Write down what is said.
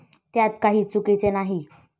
त्यात काही चुकीचे नाही.